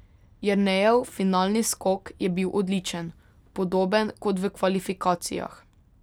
Jernejev finalni skok je bil odličen, podoben kot v kvalifikacijah.